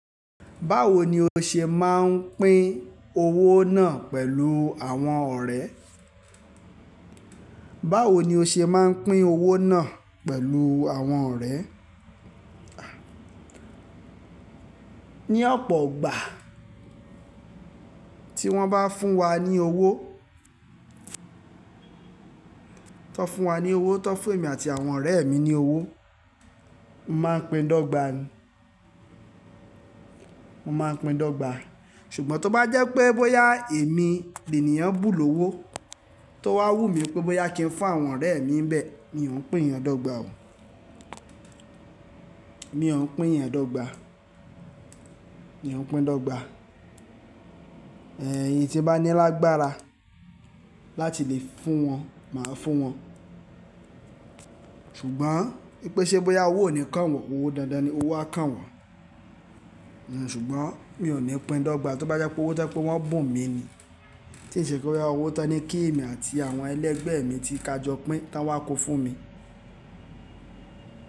Báwo ni o ṣe máa ń pín owó náà pẹ̀lú àwọn ọ̀rẹ́? Báwo ni o ṣe máa ń pín owó náà pẹ̀lú àwọn ọ̀rẹ́? Ni ọ̀pọ̀ ìgbà tí wọ́n bá fún wa ní owó, tán fún wa ní owó, tán fún èmi àti àwọn ọ̀rẹ́ mi ní owó, mo máa ń pín dógba, mo máa ń pín dógba. Ṣùgbọ́n tó bá jẹ́ pé bóyá èmi, lènìyàn bùn lówó tó wá wù mí pé bóyá kí n fún àwọn ọ̀rẹ́ mi ń bẹ̀, mi ò ní pín yẹn dọ́gba o mi ò ń pín yẹn dọ́gba, mi ò ń pín dọ́gba. Ẹ̀yin tí n bá ní lágbára láti lè fún wọn, màá fún wọn. Ṣùgbọ́n wìpè ṣe bóyá owó ò ní kàn wọ́n, owó dáadáa ni owó á kàn wọ́n. Ṣùgbọ́n mi ò ní pín dọ́gba tó bá jẹ́ pé owó tó jẹ́ pé wọ́n bùn mi ni. Tí ì ṣe pé bóyá owó tán ní kí èmi àti àwọn ẹlẹgbẹ́ mi tí ka jọ pín táwọn kó fún mi.